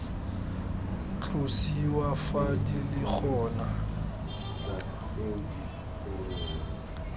tlosiwa fa di le gona